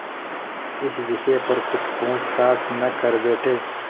इस विषय पर कुछ पूछताछ न कर बैठें